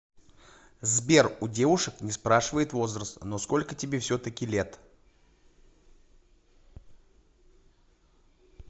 сбер у девушек не спрашивают возраст но сколько тебе все таки лет